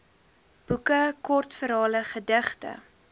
boeke kortverhale gedigte